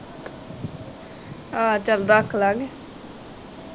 ਆਹੋ ਚਲ ਰਖਲਾ ਕੇ